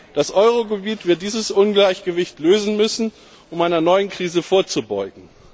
Das Euro Gebiet wird dieses Ungleichgewicht lösen müssen, um einer neuen Krise vorzubeugen.